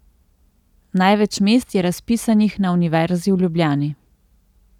Največ mest je razpisanih na Univerzi v Ljubljani.